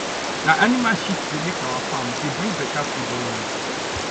na animal shit dey make our farm dey bring better food always